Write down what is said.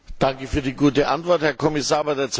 Danke für die gute Antwort, Herr Kommissar!